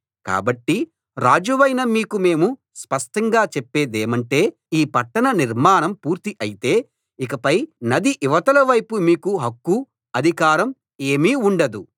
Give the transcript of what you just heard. కాబట్టి రాజువైన మీకు మేము స్పష్టంగా చెప్పేదేమంటే ఈ పట్టణ నిర్మాణం పూర్తి అయితే ఇకపై నది ఇవతలి వైపు మీకు హక్కు అధికారం ఏమీ ఉండదు